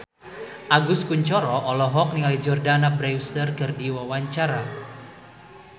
Agus Kuncoro olohok ningali Jordana Brewster keur diwawancara